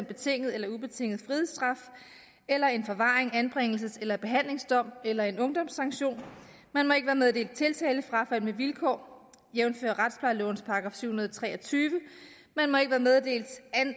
betinget eller ubetinget frihedsstraf eller en forvarings anbringelses eller behandlingsdom eller en ungdomssanktion man må ikke være meddelt tiltalefrafald med vilkår jævnfør retsplejelovens § syv hundrede og tre og tyve man må ikke være meddelt